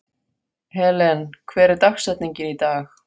Helen, hver er dagsetningin í dag?